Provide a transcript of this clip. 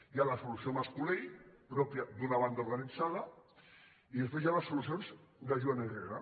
hi ha la solució mascolell pròpia d’una banda organitzada i després hi ha les solucions de joan herrera